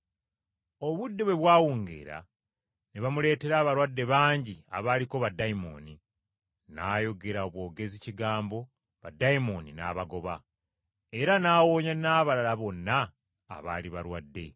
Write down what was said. Obudde bwe bwawungeera, ne bamuleetera abalwadde bangi abaaliko baddayimooni. N’ayogera bwogezi kigambo baddayimooni n’abagoba, era n’awonya n’abalala bonna abaali balwadde.